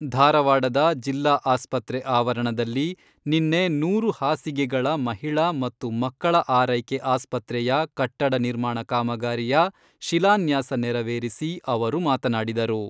ಧಾರವಾಡದ ಜಿಲ್ಲಾ ಆಸ್ಪತ್ರೆ ಆವರಣದಲ್ಲಿ ನಿನ್ನೆ ನೂರು ಹಾಸಿಗೆಗಳ ಮಹಿಳಾ ಮತ್ತು ಮಕ್ಕಳ ಆರೈಕೆ ಆಸ್ಪತ್ರೆಯ ಕಟ್ಟಡ ನಿರ್ಮಾಣ ಕಾಮಗಾರಿಯ ಶಿಲಾನ್ಯಾಸ ನೆರವೆರಿಸಿ ಅವರು ಮಾತನಾಡಿದರು.